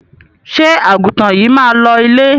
Ṣé àgùntàn yìí máa lọ ilé?